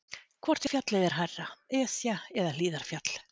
Hvort fjallið er hærra, Esja eða Hlíðarfjall?